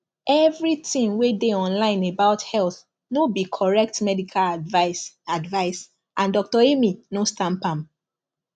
everything wey dey online about health no be correct medical advice advice and doctor amy no stamp am